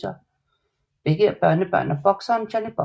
Begge er børnebørn af bokseren Johnny Buff